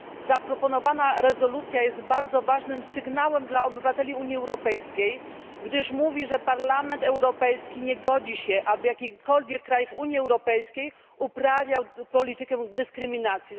Zaproponowana rezolucja jest bardzo ważnym sygnałem dla obywateli Unii Europejskiej, gdyż mówi, że Parlament Europejski nie godzi się, aby jakikolwiek kraj w Unii Europejskiej uprawiał politykę dyskryminacji.